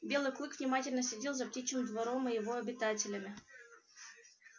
белый клык внимательно следил за птичьим двором и его обитателями